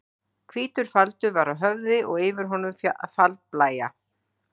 Hvítur faldur var á höfði og yfir honum faldblæja.